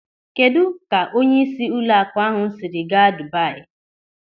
Kedụ ka onyeisi ụlọakụ ahụ siri gaa Dubayi?